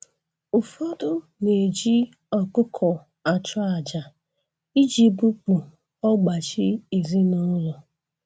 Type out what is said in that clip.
Ụfọdụ na-eji ọkụkọ achụ aja iji bupu ọgbachi ezinụlọ